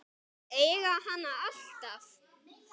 Að eiga hann alltaf.